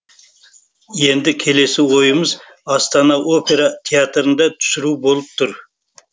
енді келесі ойымыз астана опера театрында түсіру болып тұр